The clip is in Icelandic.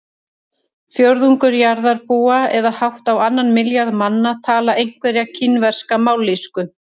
Fjórðungur jarðarbúa eða hátt á annan milljarð manna tala einhverja kínverska mállýsku.